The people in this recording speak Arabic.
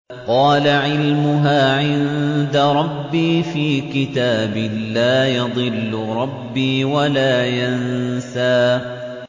قَالَ عِلْمُهَا عِندَ رَبِّي فِي كِتَابٍ ۖ لَّا يَضِلُّ رَبِّي وَلَا يَنسَى